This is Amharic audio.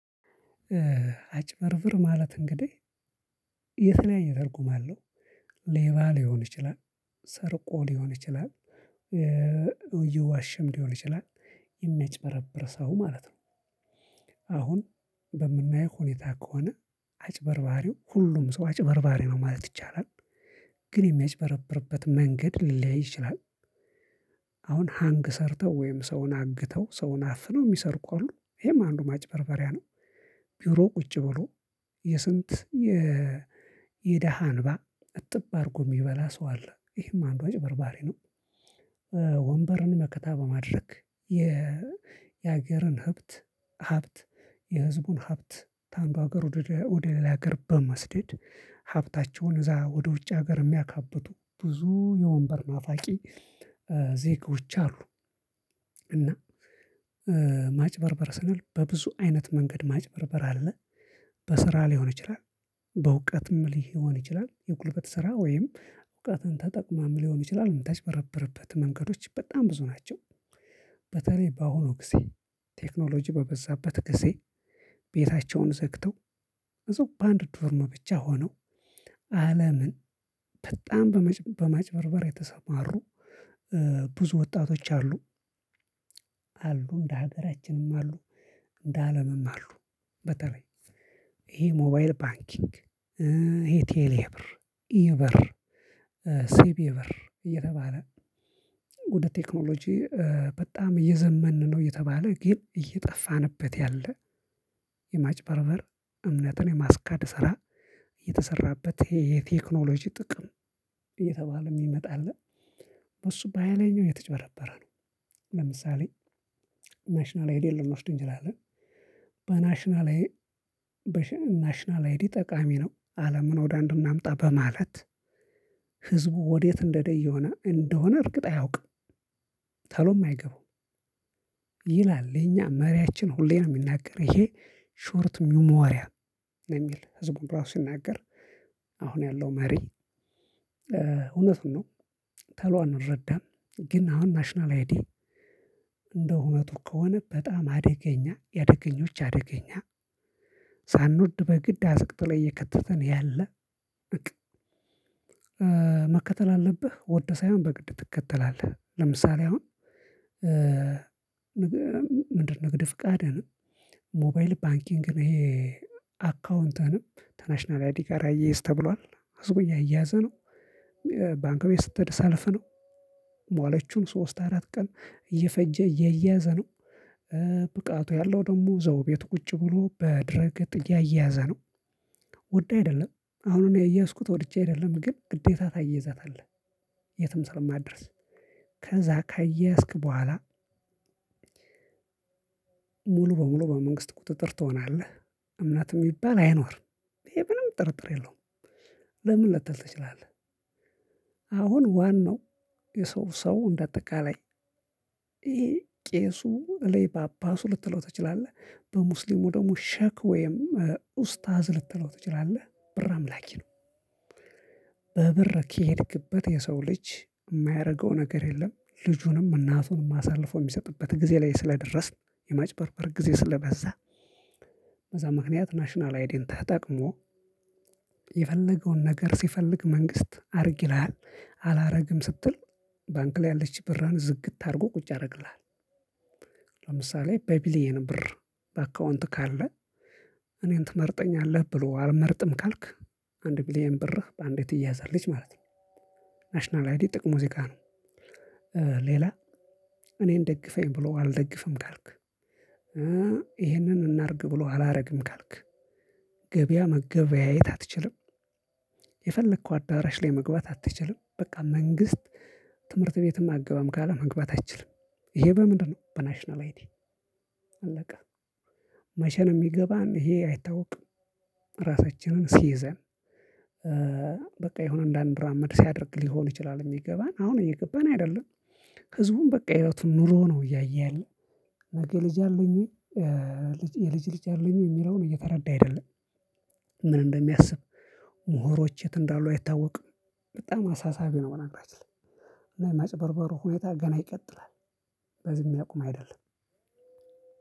አጭበርብር ማለት እንግዲህ የተለያየ ትርጉም አለው። ሌባ ሊሆን ይችላል። ሰርቆ ሊሆን ይችላል። የዋሸም ሊሆን ይችላል የሚያጭበረብር ሰው ማለት ነው። አሁን በምናየው ሁኔታ ከሆነ አጭበርባሪው ሁሉም ሰው አጭበርባሪ ነው ማለት ይቻላል። ግን የሚያጭበረብርበት መንገድ ሊለያይ ይችላል። አሁን ሀንግ ሰርተው ወይም ሰውን አግተው ሰውን አፍነው የሚሰርቁ አሉ ይሄም አንዱ ማጭበርበሪያ ነው። ቢሮ ቁጭ ብሎ የስንት የደሃ እንባ አጥብ አድርጎ የሚበላ ሰው አለ ይሄም አንዱ አጭበርባሪ ነው። ወንበርን መከታ በማድረግ የ የሀገርን ህብት ሀብት የህዝቡን ሀብት ከአንዱ ሀገር ወደ ሌላ ሀገር በመስደድ ሀብታቸውን እዛ ወደ ውጭ ሀገር የሚያካብቱ ብዙ የወንበር ናፋቂ ዜጎች አሉ። እና ማጭበርበር ስንል በብዙ አይነት መንገድ ማጭበርበር አለ። በስራ ሊሆን ይችላል በእውቀትም ሊሆን ይችላል የጉልበት ስራ ወይም እውቀትን ተጠቅመም ሊሆን ይችላል የምታጭበረብርበት መንገዶች በጣም ብዙ ናቸው። በተለይ በአሁኑ ጊዜ ቴክኖሎጂ በበዛበት ጊዜ ቤታቸውን ዘግተው እዛው በአንድ ዶርም ብቻ ሆነው አለምን በጣም በማጭበርበር የተሰማሩ ብዙ ወጣቶች አሉ። አሉ እንደ ሀገራችንም አሉ እንደ አለምም አሉ። በተለይ ይሄ ሞባይል ባንኪንግ ይሄ ቴሌብር ኢብር ሲቢኢ ብር እየተባለ ወደ ቴክኖሎጂ በጣም እየዘመን ነው እየተባለ ግን እየጠፉንበት ያለ። የማጭበርበር እምነትን የማስካድ ስራ እየተሰራበት ይሄ የቴክኖሎጂ ጥቅም እየተባለ የሚመጣ አለ። በሱ በሃይለኛው የተጭበረበረነው ለምሳሌ ናሽናል አይዲ ነው የምትወስደኝ እንጂ ላለን በናሽናል በሽንናሽናል አይዲ ጠቃሚ ነው አለምን ወደ አንድ እናምጣ በማለት ህዝቡ ወዴት እየሄደ እንደሆነ እንደሆነ እርግጥ አያውቅም። ቶሎም አይገባውም። ይላል የኛ መሪያችን ሁሌ ነው የሚናገር ይሄ ሾርት ሚሞሪያ ነው። የሚል ህዝቡን ራሱ ሲናገር አሁን ያለው መሪ እውነቱን ነው ተሎ አንረዳም። ግን አሁን ናሽናል አይዲ እንደው እውነቱ ከሆነ በጣም አደገኛ የአደገኞች አደገኛ። ሳንወድ በግድ አዝቅጦ እየከተተን ያለ። መከተል አለብህ ወደ ሳይሆን በግድህ ትከተላለህ ለምሳሌ አሁን ምንድነው ንግድ ፍቃድ ሆነ ሞባይል ባንኪንግ ነው ይሄ። አካውንትህንም ተናሽናል አይዲ ጋራ አያያዝ ተብሏል ህዝቡ እያያዘ ነው። ባንክ ቤት ስትሄድ ሰልፍ ነው። ሟለችም ሶስት አራት ቀን እየፈጀ እየያዘ ነው። ብቃቱ ያለው ደግሞ እዛው ቤቱ ቁጭ ብሎ በድረ ገጥ እያያየዘ ነው። ወደህ አይደለም አሁን እኔ ያየያዝኩት ወድጄ አይደለም ግን ግዴታ ታያይዛታለህ። የትም ስለማትደርስ ከዛ ካያያዝክ በኋላ ሙሉ በሙሉ በመንግስት ቁጥጥር ትሆናለህ። እምነት የሚባል አይኖርም ይሄ ምንም ጥርጥር የለውም። ለምን ልትል ትችላለህ። አሁን ዋናው የሰው ሰው እንደ አጠቃላይ ቄሱ በለኝ ፓፐሱ ልትለው ትችላለህ በሙስሊሙ ደግሞ ሸክ ወይም ኡስታስ ልትለው ትችላለህ ብር አምላኪ ነው። በብር ከሄድክበት የሰው ልጅ የማያረገው ነገር የለም ልጅንም እናቱንም አሳልፎ የሚሰጥበት ጊዜ ላይ ስለደረስን የማጭበርር ጊዜ ስለበዛ። በዛ ምክንያት ናሽናል አይዲን ተጠቅሞ የፈለገውን ነገር ሲፈልግ መንግስት አድርግ ይልሀል አላደርግም ስትል ባንክ ላይ ያለችህን ብርህን ዝግት አድርጎ ቁጭ ያደርግልሃል። ለምሳሌ በቢሊየን ብር በአካውንትህ ካለ እኔን ትመርጠኛለህ ብሎ አልመርጥም ካልክ አንድ ቢሊየን ብርህ በአንዴ ትያዘለች ማለት ነው። ናሽናል አይዲ ጥቅሙ እዚጋ ነው። ሌላ እኔን ደግፈኝ ብሎ አልደግፍም ካልክ ይህንን እናርግ ብሎ አላደርግም ካልክ ገበያ መገበያየት አትችልም። የፈለከው አዳራሽ ላይ መግባት አትችልም በቃ መንግስት ትምህርት ቤትም አግባም ካለ መግባትም አችልም። ይሄ በምንድነው በናሽናል አይዲ። አለወ መቼንመ ነው የሚገባን ይሄ አይታወቅም። ራሳችንን ሲይዘን በቃ የሆነ አንዳንራመድ ሲያደርግ ሊሆን ይችላል የሚገባን አሁን እየገባን አይደለም። ህዝቡም በቃ ህይወቱን ኑሮ ነው እያየ ያለው። ልጄ ልጅ አለኝ ወይ? የልጅ ልጅ አለኝ የሚለውን እየተረዳ አይደለም። ምን እንደሚያስብ ምሁሮች የት እንዳሉ አይታወቅም። በጣም አሳሳቢ ነው። በነገራችን ላይ እና የማጭበርበሩ ሁኔታ ገና ይቀጥላል። በዚህ የሚያቁም አይደለም።